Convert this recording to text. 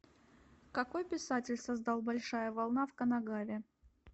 какой писатель создал большая волна в канагаве